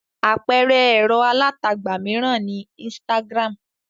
Àpẹẹrẹ ẹ̀rọ alátagbà mìíràn ni Instagram.